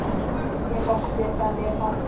Ég sótti það mjög fast.